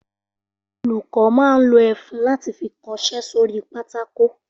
Olùkọ́ máa ń lo ẹfun láti fi kọṣẹ́ sórí pátákó